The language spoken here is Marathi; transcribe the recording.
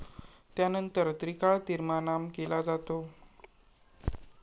त्यानंतर त्रिकाळ तीर्मानाम केला जातो.